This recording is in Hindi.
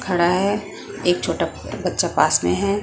खड़ा है एक छोटा बच्चा पास में है।